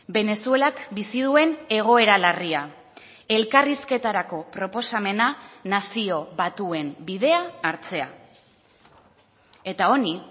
venezuelak bizi duen egoera larria elkarrizketarako proposamena nazio batuen bidea hartzea eta honi